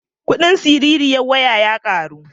Kuɗin siririyar waya ya ƙaru.